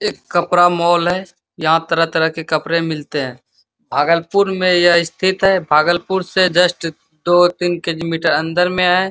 एक कपडा मॉल है | यहाँ तरह तरह के कपड़े मिलते हैं | भागलपुर में यह स्थित है | भागलपुर से जस्ट दो तीन किलोमीटर अंदर में है |